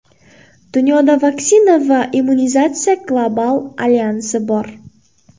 Dunyoda Vaksina va immunizatsiya global alyansi bor.